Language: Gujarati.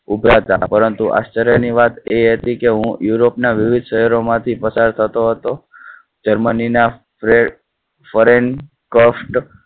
ઉભરા તા. પરંતુ આશ્ચર્ય ની વાત એ હતી કે હું યુરોપ ના વિવિધ શહેરો માંથી પસાર થતો હતો. જર્મની ના friend.